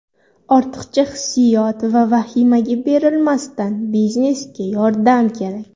Ortiqcha hissiyot va vahimaga berilmasdan, biznesga yordam kerak .